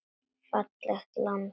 Fallegt land.